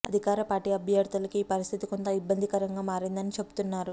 అధికార పార్టీ అభ్యర్థులకు ఈ పరిస్థితి కొంత ఇబ్బందికరంగా మారిందని చెబుతున్నారు